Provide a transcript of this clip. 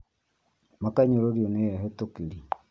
Makanyũrũrio nĩ ehetũkĩri